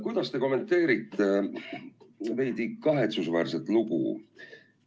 Kuidas te kommenteerite seda veidi kahetsusväärset lugu?